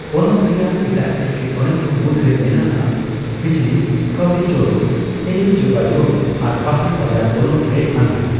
ᱯᱚᱱᱚᱛ ᱨᱮᱭᱟᱜ ᱮᱴᱟᱜ ᱮᱴᱠᱮᱴᱚᱬᱮ ᱠᱚ ᱢᱩᱫᱽᱨᱮ ᱢᱮᱱᱟᱜᱼᱟ ᱵᱤᱡᱽᱞᱤ, ᱠᱟᱹᱣᱰᱤᱡᱳᱲᱳ, ᱴᱮᱞᱤ ᱡᱳᱜᱟᱡᱳᱜᱽ ᱟᱨ ᱵᱟᱨᱦᱮ ᱵᱟᱡᱟᱨ ᱵᱚᱞᱚᱱ ᱨᱮ ᱟᱱᱟᱴ ᱾